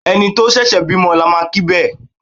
Ẹni tó ṣẹ̀ṣẹ̀ bímọ ni a máa kí bẹ́ẹ̀.